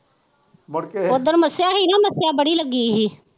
ਉਸ ਦਿਨ ਮੱਸਿਆ ਹੀ ਨਾ ਮੱਸਿਆ ਬੜੀ ਲੱਗੀ ਦੀ ਹੀ।